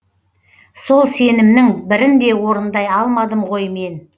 сол сенімнің бірін де орындай алмадым ғой мен